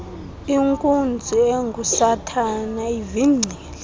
inkunzi engusathana ivingcile